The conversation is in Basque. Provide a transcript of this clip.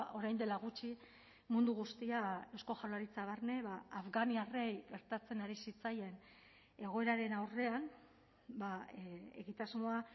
orain dela gutxi mundu guztia eusko jaurlaritza barne afganiarrei gertatzen ari zitzaien egoeraren aurrean egitasmoa